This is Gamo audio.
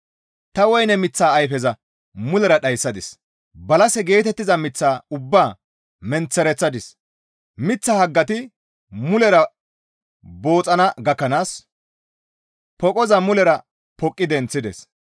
Ta woyne miththa ayfeza mulera dhayssides; balase geetettiza miththa ubbaa menththereththides; miththa haggati mulera booxxana gakkanaas poqoza mulera poqqi denththichides.